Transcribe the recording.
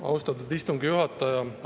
Austatud istungi juhataja!